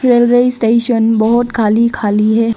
Railway station बहुत खाली खाली है।